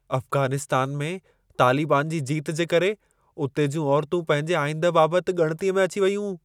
अफ़्ग़ानिस्तान में तालिबान जी जीत जे करे उते जूं औरतूं पंहिंजे आईंदह बाबति ॻणितीअ में अची वयूं।